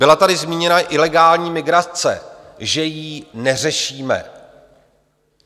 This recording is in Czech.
Byla tady zmíněna ilegální migrace, že ji neřešíme.